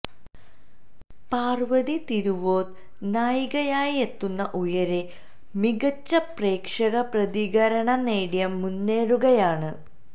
പാര്വതി തിരുവോത്ത് നായികയായെത്തുന്ന ഉയരെ മികച്ച പ്രേക്ഷക പ്രതികരണം നേടി മുന്നേറുകയാണ്